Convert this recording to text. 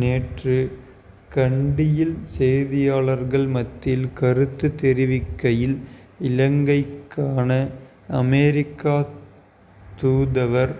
நேற்று கண்டியில் செய்தியாளர்கள் மத்தியில் கருத்து தெரிவிக்கையில் இலங்கைக்கான அமெரிக்க தூதுவர்